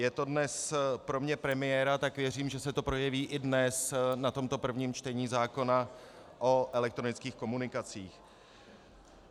Je to dnes pro mne premiéra, tak věřím, že se to projeví i dnes na tomto prvním čtení zákona o elektronických komunikacích.